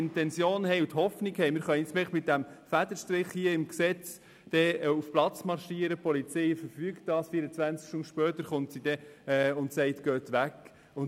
Man darf nun nicht die Hoffnung haben, dass wir das Problem einfach mit einem Federstrich im Gesetz lösen, die Polizei dann auf den Platz marschiert und die Fahrenden 24 Stunden später weg sind.